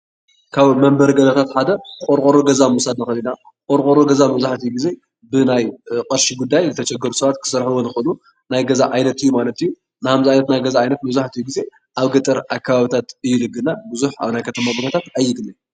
ካብ መንበሪ ገዛ ሓደ ቆርቆሮ ገዛ ምውሳድ ንክእል ኢና፡፡ ቆርቆሮ ገዛ መብዛሕትኡ ግዜ ብናይ ብቅርሺ ጉዳይ ዝተሸገሩ ሰባት ክሰርሕዎ ዝክእሉ ናይ ገዛ ዓይነት እዩ ማለት እዩ፡፡ ንኣብነት ከምዚ ዓይነት ገዛ መብዛሕትኡ ግዜ ኣብ ገጠር እዩ ዝግነ ብዙሕ ኣብ ከተማ ከባቢ ኣይግነን፡፡